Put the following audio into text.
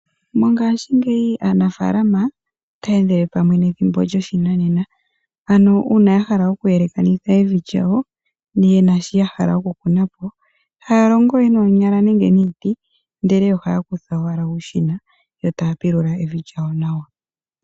Mongashingeyi aanafaalama otaya endele pamwe nethimbo lyoshinanena ano uuna ya hala okuyelaka nitha evi lyawo yena shi ya hala oku kuna po Ihaya longo we noonyala nenge niiti ohaya kutha owala uushina ndele taya pilula evi lyawo